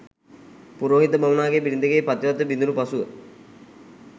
පුරෝහිත බමුණාගේ බිරිඳගේ පතිවත බිඳුණු පසුව,